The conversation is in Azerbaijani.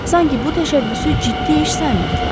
Sanki bu təşəbbüsü ciddi iş saymırdılar.